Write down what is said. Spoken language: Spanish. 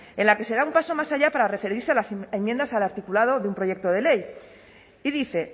en la que se da un paso más allá para referirse a las enmiendas al articulado de un proyecto de ley y dice